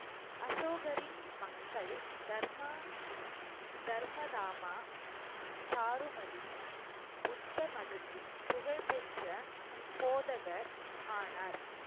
அசோகரின் மக்கள் தர்ம~ தர்ம தாமா சாருமதி புத்த மதத்தின் புகழ் பெற்ற போதகர் ஆனார்